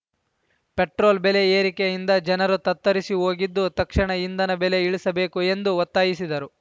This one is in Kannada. ಪೆಟ್ರೋಲ್‌ ಬೆಲೆ ಏರಿಕೆಯಿಂದ ಜನರು ತತ್ತರಿಸಿ ಹೋಗಿದ್ದು ತಕ್ಷಣ ಇಂಧನ ಬೆಲೆ ಇಳಿಸಬೇಕು ಎಂದು ಒತ್ತಾಯಿಸಿದರು